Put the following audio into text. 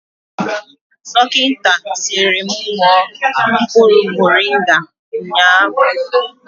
Dọkịta sịrị mụ ṅụọ mkpụrụ morịnga nga ụnyaahụ